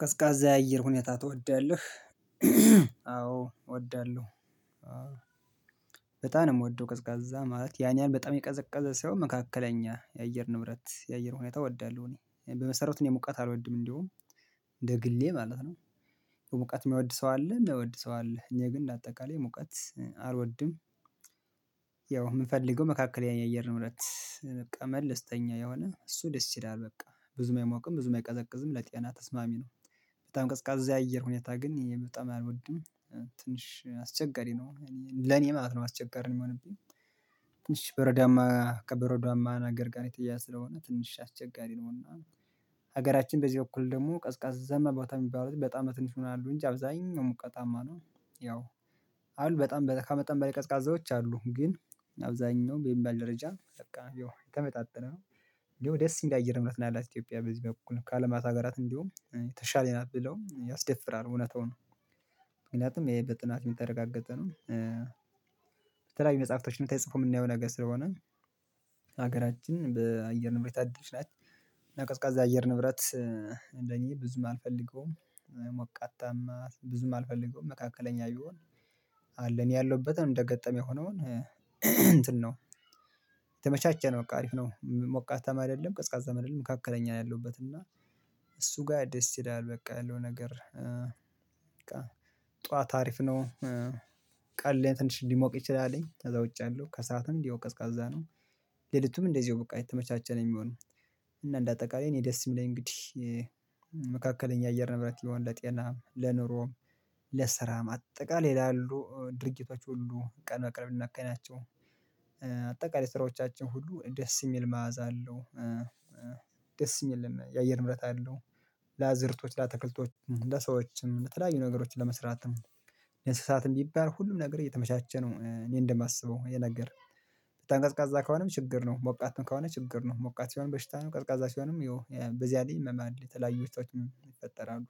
ቀዝቃዛ የአየር ሁኔታ ትወዳለህ? አዎ እወዳለሁ። በጣም ነው እምወደው ቀዝቃዛ ማለት ያንያህል በጣም የቀዘቀዘ ሳይሆን መካከለኛ የአየር ንብረት የአየር ሁኔታ እወዳለሁ። እኔ በመሰረቱ እኔ ሙቀት አልወድም እንደውም እንደ ግሌ ማለት ነው። ሙቀት የማይወድ ሰው አለ የሚወድ ሰው አለ እኔ ግን እንደ አጠቃላይ ሙቀት አልወድም። ያው እምፈልገው መካከለኛ አየር ንብረት በቃ መለስተኛ የሆነ እሱ ደስ ይላል በቃ ብዙም አይሞቅም ብዙም አይቀዘቅዝም ለጤና ተስማሚ ነው። በጣም ቀዝቃዛ አየር ሁኔታ ግን እኔ በጣም አልወድም። ትንሽ አስቸገሪ ነው። ለኔ ማለት ነው አስቸጋሪ እሚሆንብኝ። ትንሽ በረዶአማ ከበረዶአማ ነገር ጋር የተያያዘ ስለሆነ ትንሽ አስቸገሪ ነው እና ሀገራችን በዚህ በኩል ደግሞ ቀዝቃዛማ ቦታ የሚባሉት በጣም ትንሽ ይሆናሉ እንጂ አብዛኛው ሙቀታማ ነው። ያው አሉ በጣም ከመጠን በላይ ቀዝቃዛዎች አሉ ግን አብዛኛው በሚባል ደረጃን በቃ የተመጣጠነ ነው። እንደውም ደስ እሚል አየር ንብረት ነው ያላት ኢትዮጵያ በዚህ በኩል ከአለም አራት ሀገራት እንዲሁም የተሻለይ ናት ብለውም ያስደፍራል እውነታውን ምክንያቱም ይሄ በጥናት የምታረጋግጠው ነው። በተለያዩ መጽሐፍቶችን ተጽፎ የምናየው ነገር ስለሆነ ሀገራችን በአየር ንብረት የታደለች ናት። እና ቀዝቃዛ አየር ንብረት ለእኔ ብዙም አልፈልገውም ሞቃታማ ብዙም አልፈልገውም መካከለኛ ይሆን። አለን እኔ ያለሁበትን እንደ አጋጣሚ ሆኖ እንትን ነው። የተመቻቸ ነው በቃ አሪፍ ነው ሞቃታማ አይደለም ቀዝቃዛ አይደለም መካከለኛ ነው ያለውበት እና። እሱ ጋር ደስ ይላል በቃ ያለው ነገር በቃ ጠዋት አሪፍ ነው። ቀንላይ ትንሽ ሊሞቅ ይችላለኝ ከዛ ውጪ ያአለው ከሰአትም እንዲሁ ቀዝቃዛ ነው። ሌሊቱም እንደዚሁ በቃ የተመቻቸ ነው የሚሆነው። እና እንደ አጠቃላይ እኔ ደስ የሚለኝ እንግዲህ መካከለኛ አየር ንብረት የሆነ ለጤናም ለኑሮም ለስራም አጠቃላይ ላሉ ድርጊቶች ሁሉ ቀን በቀን እምናካሂዳቸው አጠቃላይ ስራዎቻችን ሁሉ ደስ የሚል መዓዛ አለው። ደስ እሚልም የአየር ንብረት አለው። ለአዝርቶች ለአትክልቶች ለሰዎችም የተለያዩ ነገሮችን ለመስራትም ለእንስሳትም ቢባል ሁሉም ነገር የተመቻቸ ነው እኔ እንደማስበው ይሄ ነገር በጣም ቀዝቃዛ ከሆነም ችግር ነው ሞቃትም ከሆነ ችግር ነው ሞቃት ሲሆንም በሽታ ነው ቀዝቃዛ ሲሆንም ይኸው በዚያ ላይ ህመም አለ የተለያዩ በሽታዎችም ይፈጠራሉ።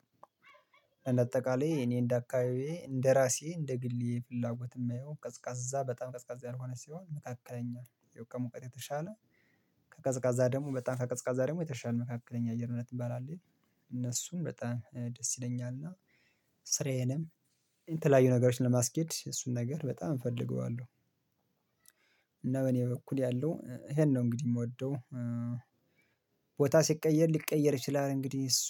ለእንደ አጠቃላይ እኔ እንዳካባቢየ እንደራሴ እንደግሌ ፍላጎት እማየው ቀዝቃዛ በጣም ቀዝቃዛ ያልሆነ ሲሆን መካከለኛ ያው ከሙቀት የተሻለ ከቀዝቃዛ ደግሞ በጣም ከቀዝቃዛ ደግሞ የተሻለ መካከለኛ አየር ንብረት እሚባል አለ አይደል? እነሱም በጣም ደስ ይለኛል እና ስራዬንም የተለያዩ ነገሮችን ለማስኬድ እሱን ነገር በጣም እፈልገዋለሁ። እና በ እኔ በኩል ያለው ይሄን ነው እንግዲህ የምወደው። ቦታ ሲቀየር ሊቀየር ይችላል እንግዲህ እሱ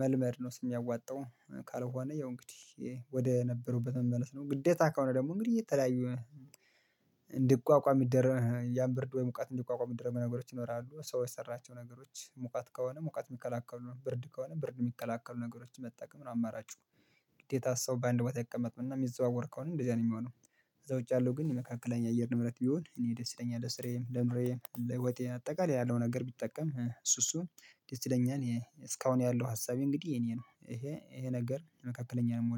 መልመድ ነው የሚያዋጣው። ካልሆነ ያው እንግዲህ ወደ ነበሩበት መመለስ ነው ግዴታ ከሆነ ደግሞ እንግዲህ እየተለያዩ። እንድቋቋም ይደረግ ያን ብርድ ወይ ሙቀት እንዲቋቋም እሚደረጉ ነገሮች ይኖራሉ ሰዎ የሰራቸው ነገሮች ሙቀት ከሆነ ሙቀት እሚከላከሉ ብርድ ከሆነ ብርድ እሚከላከሉ ነገሮችን መጠቀም ነው አማራጩ። ግዴታ ሰው በአንድ ቦታ ይቀመጥም እና እሚዘዋወር ከሆነ እንደዚህ ነው የሚሆነው። ከዛ ውጪ ያለው ግን የመካከለኛ አየር ንብረት ቢሆን እኔ ደስ ይለኛል ለስራየም ለኑሮየም ለህይወቴም አጠቃላይ ያለው ነገር ብጠቀም እሱ እሱ ደስ ይለኛል። እስካሁን ያለው ሀሳቤ እንግዲህ የኔ ነው ይሄ ይሄ ነገር መካከለኛ ነው የምወደው